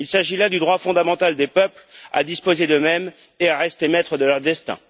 Il s'agit là du droit fondamental des peuples à disposer d'eux mêmes et à rester maîtres de leur destin.